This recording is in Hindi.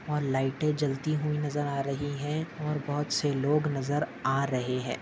और लाइटे जलती हुई नजर आ रही है और बहुत से लोग नजर आ रहे है।